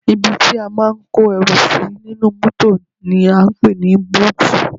Ibi tí a máa ń kó ẹrù sí nínú mọ́tò ni à ń pè ní búùtù